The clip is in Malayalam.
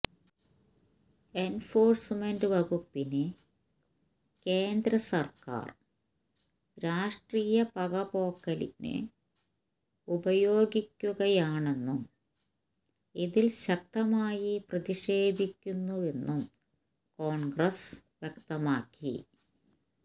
എൻഫോഴ്സ്മെന്റ് വകുപ്പിനെ കേന്ദ്ര സർക്കാർ രാഷ്ട്രീയ പകപോക്കലിന് ഉപയോഗിക്കുകയാണെന്നും ഇതിൽ ശക്തമായി പ്രതിഷേധിക്കുന്നുവെന്നും കോൺഗ്രസ് വ്യക്തമാക്കി